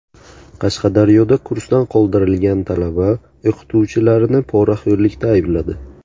Qashqadaryoda kursdan qoldirilgan talaba o‘qituvchilarini poraxo‘rlikda aybladi.